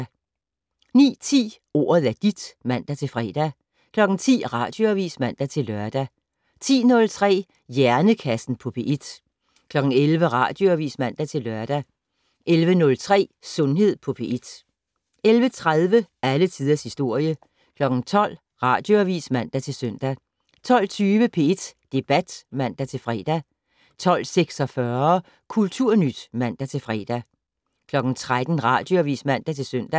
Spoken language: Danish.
09:10: Ordet er dit (man-fre) 10:00: Radioavis (man-lør) 10:03: Hjernekassen på P1 11:00: Radioavis (man-lør) 11:03: Sundhed på P1 11:30: Alle tiders historie 12:00: Radioavis (man-søn) 12:20: P1 Debat (man-fre) 12:46: Kulturnyt (man-fre) 13:00: Radioavis (man-søn)